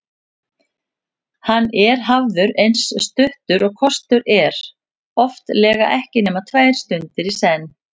Hann er hafður eins stuttur og kostur er, oftlega ekki nema tvær stundir í senn.